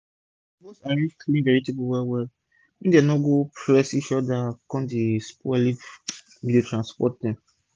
u suppose arrange clean vegetable well well make dem no go press each oda kon spoil if u dey transport dem